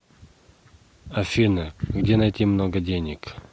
афина где найти много денег